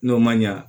N'o ma ɲa